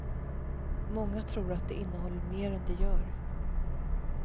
Många tror att det innehåller mer än det gör.